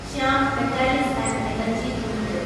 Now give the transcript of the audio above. Shyam Metalics and Energy limited